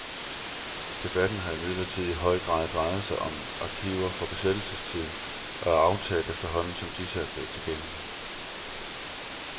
Debatten har imidlertid i høj grad drejet sig om arkiver fra besættelsestiden og er aftaget, efterhånden som disse er blevet tilgængelige.